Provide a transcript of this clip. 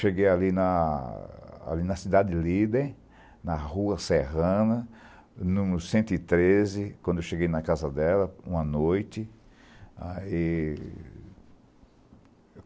Cheguei ali na ali na cidade de Líden, na Rua Serrana, no cento e treze, quando cheguei na casa dela, uma noite. E